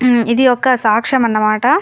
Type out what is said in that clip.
ఇది ఒక సాక్షం అన్న మాట.